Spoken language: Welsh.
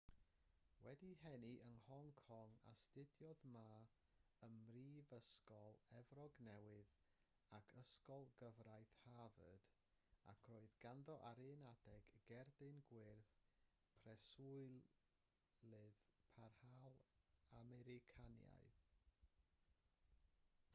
wedi'i eni yn hong kong astudiodd ma ym mhrifysgol efrog newydd ac ysgol gyfraith harvard ac roedd ganddo ar un adeg gerdyn gwyrdd preswylydd parhaol americanaidd